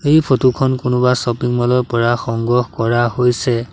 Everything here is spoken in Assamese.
এই ফটো খন কোনোবা শ্বপিং ম'ল ৰ পৰা সংগ্ৰহ কৰা হৈছে।